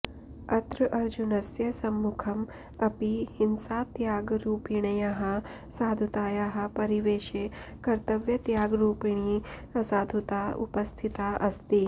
अत्र अर्जुनस्य सम्मुखम् अपि हिंसात्यागरूपिण्याः साधुतायाः परिवेशे कर्तव्यत्यागरूपिणी असाधुता उपस्थिता अस्ति